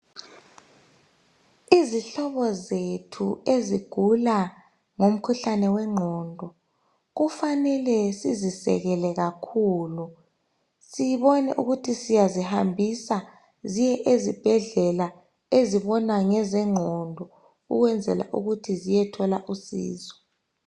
Izihlobo zethu ezigula ngomkhuhlane wengqondo kufanele sizisekele kakhulu sibone ukuthi siyazi hambisa ziye ezibhedlela ezibona ngezengqondo ukwenzela ukuthi ziyethola usizo